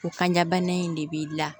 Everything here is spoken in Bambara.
O kanjabana in de b'i la